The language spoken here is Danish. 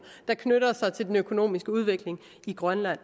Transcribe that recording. der knytter sig til den økonomiske udvikling i grønland